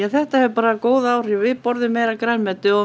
þetta hefur bara góð áhrif við borðum meira af grænmeti og